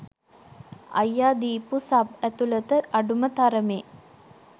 අයියා දිපු සබ්ඇතුලත අඩුම තරමේ